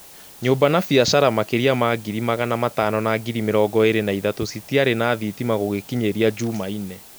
Nyũmba na biacara makeria ma ngiri magana matano na ngiri mĩrongo ĩrĩ na ithatũ citiarĩ na thitima gũgĩkinyeria njumaine